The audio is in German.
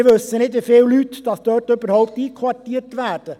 Wir wissen nicht, wie viele Personen dort überhaupt einquartiert werden.